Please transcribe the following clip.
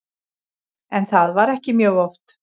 En það var ekki mjög oft.